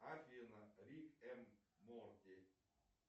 афина рик эм морти